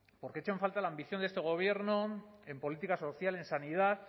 porque echo en falta la ambición de este gobierno en política social en sanidad